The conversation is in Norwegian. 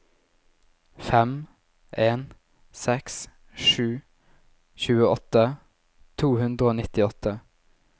fem en seks sju tjueåtte to hundre og nittiåtte